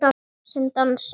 Sem dansar.